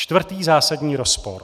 Čtvrtý zásadní rozpor.